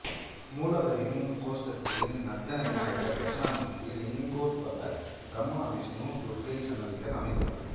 மூலவரின் கோஸ்டத்தில் நர்த்தன விநாயகர் தட்சணாமூர்த்தி லிங்கோத்பவர் பிரம்மா விஷ்ணு துர்க்கை சன்னதிகள் அமைந்துள்ளன